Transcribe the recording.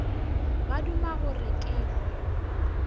ba duma gore ke hwe